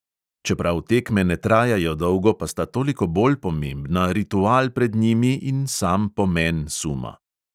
Čeprav tekme ne trajajo dolgo, pa sta toliko bolj pomembna ritual pred njimi in sam pomen suma.